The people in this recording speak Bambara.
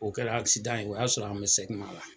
O kɛla akisidan ye o y'a sɔrɔ an be sɛgima la